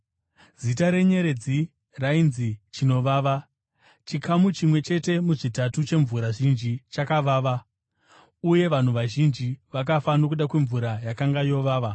zita renyeredzi rainzi Chinovava. Chikamu chimwe chete muzvitatu chemvura zhinji chakavava, uye vanhu vazhinji vakafa nokuda kwemvura yakanga yovava.